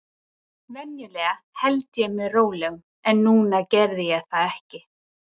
Venjulega held ég mér rólegum, en núna gerði ég það ekki.